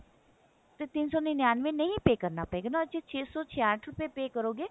ਤਿੰਨ ਸੋ ਨਨਿਅੰਨਵੇਂ ਨਹੀ pay ਕਰਨਾ ਪਵੇਗਾ ਨਾ ਸਿਰਫ ਛੇ ਸੋ ਛਿਆਟ ਰੁਪਏ pay ਕਰੋਗੇ